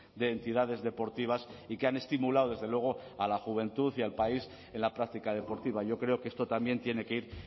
de entidades deportivas y que han estimulado desde luego a la juventud y al país en la práctica deportiva yo creo que esto también tiene que ir